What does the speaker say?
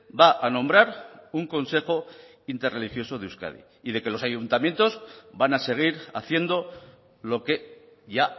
va a nombrar un consejo interreligioso de euskadi y de que los ayuntamientos van a seguir haciendo lo que ya